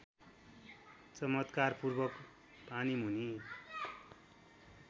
चमत्कारपूर्वक पानीमुनि